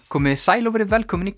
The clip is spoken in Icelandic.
komiði sæl og verið velkomin í